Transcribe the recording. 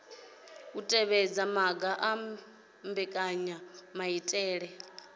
u tevhedza maga a mbekanyamaitele